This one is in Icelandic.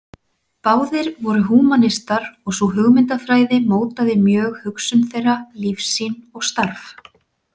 Báðir voru húmanistar og sú hugmyndafræði mótaði mjög hugsun þeirra, lífssýn og starf.